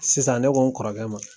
Sisan ne ko n kɔrɔkɛ ma.